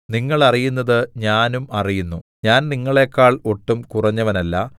നിങ്ങൾ അറിയുന്നത് ഞാനും അറിയുന്നു ഞാൻ നിങ്ങളേക്കാൾ ഒട്ടും കുറഞ്ഞവനല്ല